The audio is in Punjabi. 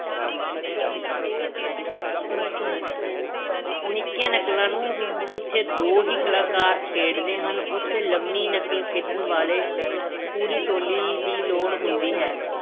ਨਿੱਕੀਆਂ ਨਕਲਾਂ ਨੂੰ ਜਿੱਥੇ ਦੋ ਹੀ ਕਲਾਕਾਰ ਖੇਡਦੇ ਹਨ ਉੱਥੇ ਲੰਮੀ ਨਕਲ ਖੇਡਣ ਵਾਲੇ ਪੂਰੀ ਟੋਲੀ ਦੀ ਲੋੜ ਹੁੰਦੀ ਹੈ।